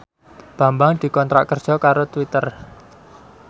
Bambang dikontrak kerja karo Twitter